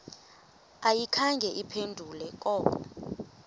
ayikhange iphendule koko